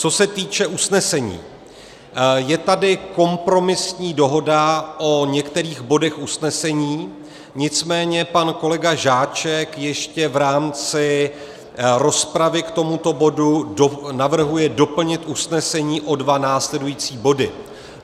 Co se týče usnesení, je tady kompromisní dohoda o některých bodech usnesení, nicméně pan kolega Žáček ještě v rámci rozpravy k tomuto bodu navrhuje doplnit usnesení o dva následující body.